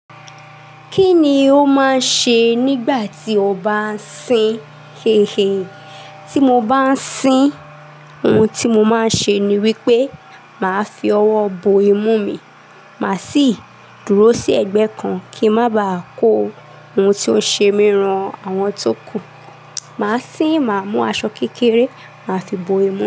Kí ni o máa ń ṣe nígbà tí o bá ń sín? Hehe. Tí mo bá ń sín, ohun tí mo máa ń ṣe ni wípé màá fi ọwọ́ bo imú mi, màá sì dúró sí ẹ̀gbẹ́ kan kí n má ba à kó ohun tó ń ṣe mí ran àwọn tó kù. Màá sín, màá mú aṣọ kékeré, màá fi bo imú.